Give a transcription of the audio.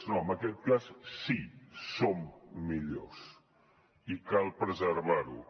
no en aquest cas sí som millors i cal preservar ho